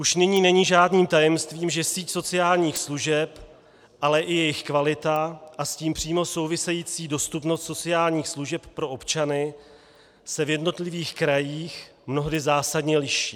Už nyní není žádným tajemstvím, že síť sociálních služeb, ale i jejich kvalita a s tím přímo související dostupnost sociálních služeb pro občany se v jednotlivých krajích mnohdy zásadně liší.